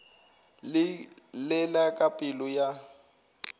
le la ka pelo ya